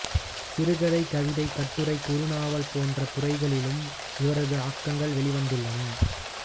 சிறுகதை கவிதை கட்டுரை குறுநாவல் போன்ற துறைகளிலும் இவரது ஆக்கங்கள் வெளிவந்துள்ளன